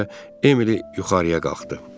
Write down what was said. Buna görə də Emily yuxarıya qalxdı.